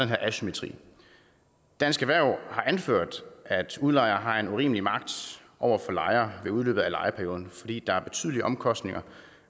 her asymmetri dansk erhverv har anført at udlejer har en urimelig magt over for lejer ved udløbet af lejeperioden fordi der er betydelige omkostninger